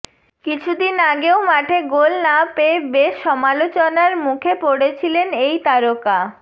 কিছুদিন আগেও মাঠে গোল না পেয়ে বেশ সমালোচনার মুখে পড়েছিলেন এই তারকা